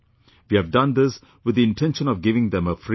We have done this with the intention of giving them a free hand